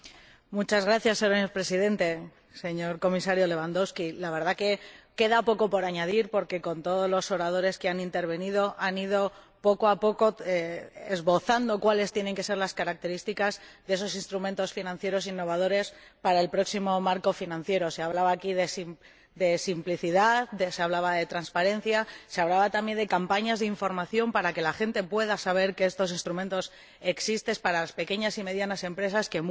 Señor Presidente, señor Comisario Lewandowski, ciertamente queda poco por añadir, porque todos los oradores que han intervenido han ido, poco a poco, esbozando cuáles tienen que ser las características de esos instrumentos financieros innovadores para el próximo marco financiero plurianual. Se ha hablado aquí de simplicidad, se ha hablado de transparencia, se ha hablado también de campañas de información, para que la gente pueda saber que estos instrumentos existen, para las pequeñas y medianas empresas, a las que, muchas veces,